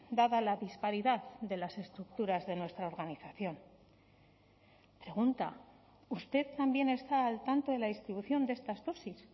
dada la disparidad de las estructuras de nuestra organización pregunta usted también está al tanto de la distribución de estas dosis